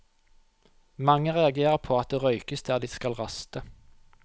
Mange reagerer på at det røykes der de skal raste.